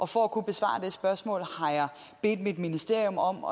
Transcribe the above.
for at kunne besvare det spørgsmål har jeg bedt mit ministerium om